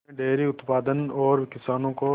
उन्होंने डेयरी उत्पादन और किसानों को